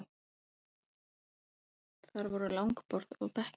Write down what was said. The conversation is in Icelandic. Þar voru langborð og bekkir.